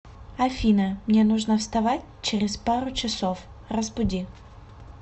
афина мне нужно вставать через пару часов разбуди